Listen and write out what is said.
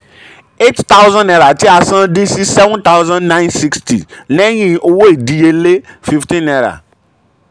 eight thousand aira tí a san dín sí seven thousand nine sixty lẹ́yìn owó ìdíyelé fifteen naira